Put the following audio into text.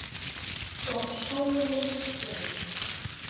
Og sólin skein.